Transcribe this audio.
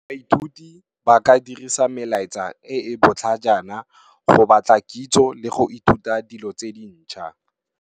Baithuti ba ka dirisa melaetsa e e botlhajana, go batla kitso le go ithuta dilo tse dintšha.